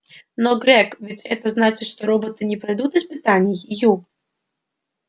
но грег ведь это значит что роботы не пройдут испытаний ю